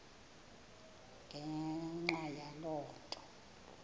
ngenxa yaloo nto